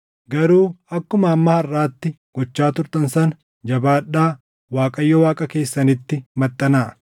Garuu akkuma hamma harʼaatti gochaa turtan sana jabaadhaa Waaqayyo Waaqa keessanitti maxxanaa.